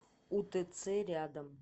утц рядом